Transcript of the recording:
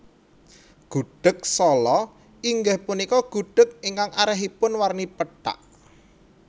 Gudheg Sala inggih punika gudheg ingkang arèhipun warni pethak